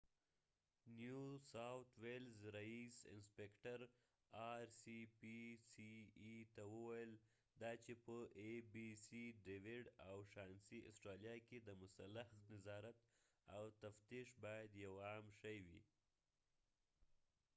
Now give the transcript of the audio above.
rspca نيو ساؤتھ ویلز رییس انسپکټر ډیویډ او شانسي abc ته وویل دا چې په اسټرالیا کې د مسلخ نظارت او تفتیش باید یو عام شی وي